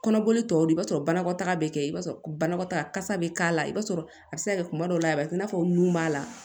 Kɔnɔboli tɔw do i b'a sɔrɔ banakɔtaa bɛ kɛ i b'a sɔrɔ banakɔtaga kasa bɛ k'a la i b'a sɔrɔ a bɛ se ka kɛ kuma dɔw la a bɛ kɛ i n'a fɔ nun b'a la